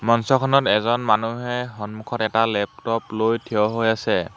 মঞ্চখনত এজন মানুহে সন্মুখত এটা লেপটপ লৈ থিয় হৈ আছে।